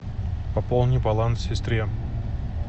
пополни баланс сестре